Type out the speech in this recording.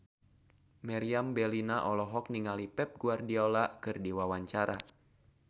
Meriam Bellina olohok ningali Pep Guardiola keur diwawancara